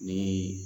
Ni